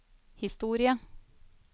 historie